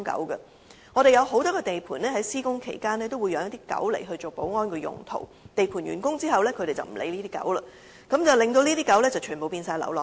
香港有很多地盤在施工期間都會飼養一些狗隻作保安用途，但在地盤完工後，便不會再理會這些狗隻，令牠們全部變成流浪狗。